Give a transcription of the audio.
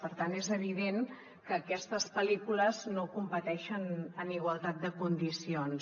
per tant és evident que aquestes pel·lícules no competeixen en igualtat de condicions